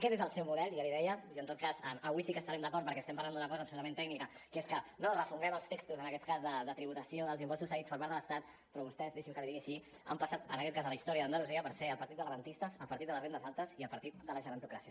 aquest és el seu model ja li ho deia i en tot cas avui sí que estarem d’acord perquè estem parlant d’una cosa absolutament tècnica que és que no refonguem els textos en aquest cas de tributació dels impostos cedits per part de l’estat però vostès deixi’m que li ho digui així han passat en aquest cas a la història d’andalusia per ser el partit dels rendistes el partit de les rendes altes i el partit de la gerontocràcia